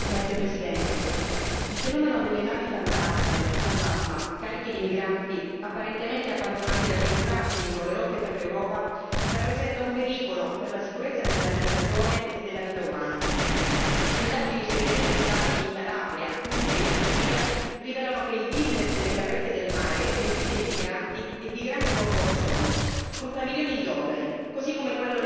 Signora Presidente, onorevoli colleghi, il fenomeno delle navi fantasma cariche di migranti apparentemente abbandonate dagli equipaggi lungo le rotte per l'Europa rappresenta un pericolo per la sicurezza della navigazione e della vita umana. Indagini sui recenti sbarchi in Calabria, Puglia e Sicilia rivelano che il business delle carrette del mare riempite di migranti è di grandi proporzioni,